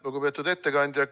Lugupeetud ettekandja!